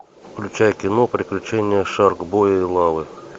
включай кино приключения шаркбоя и лавы